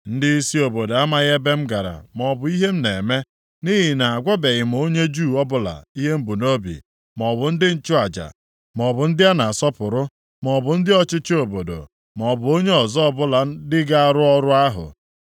Ndịisi obodo amaghị ebe m gara maọbụ ihe m na-eme, nʼihi na agwabeghị m onye Juu ọbụla ihe m bu nʼobi, maọbụ ndị nchụaja, maọbụ ndị a na-asọpụrụ, maọbụ ndị ọchịchị obodo, maọbụ onye ọzọ ọbụla ndị ga-arụ ọrụ ahụ.